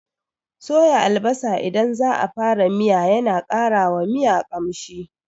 Soya albasa idan za a fara miya yana ƙara wa miya ƙamshi.